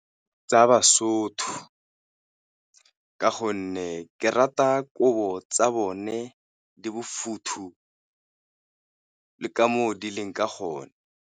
Tsa ba-Sotho ka gonne ke rata kobo tsa bone, di bofuthu le ka mo di leng ka gona.